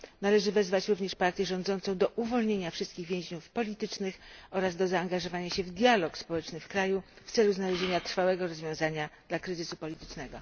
Należy również wezwać partię rządzącą do uwolnienia wszystkich więźniów politycznych oraz do zaangażowania się w dialog społeczny w kraju w celu znalezienia trwałego rozwiązania dla kryzysu politycznego.